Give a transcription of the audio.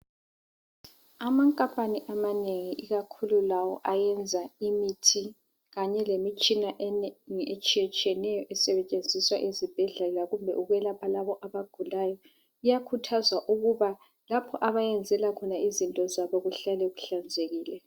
Amankampani amanengi ikakhulu lawa ayenza imithi kanye lemitshina eminengi etshiyeneyo esetshenziswa ezibhedlela kumbe ukwelapha labo abagulayo iyakhuthzwa ukuba lapha abayenzela khona izinto zabo kuhlale kuhlanzekile.